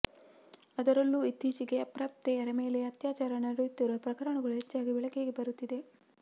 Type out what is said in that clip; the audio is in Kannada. ಅದರಲ್ಲೂ ಇತ್ತೀಚೆಗೆ ಅಪ್ರಾಪ್ತೆಯರ ಮೇಲೆ ಅತ್ಯಾಚಾರ ನಡೆಯುತ್ತಿರುವ ಪ್ರಕರಣಗಳು ಹೆಚ್ಚಾಗಿ ಬೆಳಕಿಗೆ ಬರುತ್ತಿದೆ